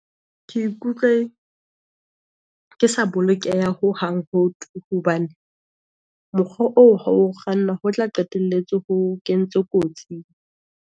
Ke ikutlwe ke sa bolokeha hohang ho tu, hobane mokgwa oo ho kganna, ho tla qetelletse ho kentse kotsi.